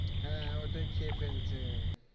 হ্যাঁ ওইটাই খেয়ে ফেলছে